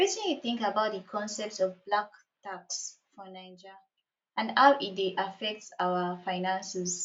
wetin you think about di concept of black tax for naija and how e dey affect our finances